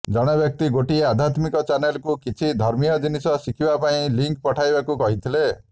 ଜଣେ ବ୍ୟକ୍ତି ଗୋଟିଏ ଆଧ୍ୟାତ୍ମିକ ଚ୍ୟାନେଲକୁ କିଛି ଧର୍ମୀୟ ଜିନିଷ ଶିଖିବା ପାଇଁ ଲିଙ୍କ ପଠାଇବାକୁ କହିଥିଲେ